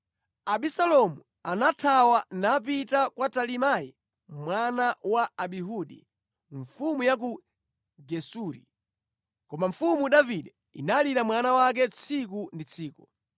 Abisalomu anathawa, napita kwa Talimai mwana wa Amihudi, mfumu ya ku Gesuri. Koma mfumu Davide inalira mwana wake tsiku ndi tsiku.